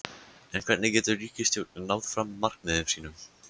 En hvernig getur ríkisstjórnin náð fram markmiðum sínum?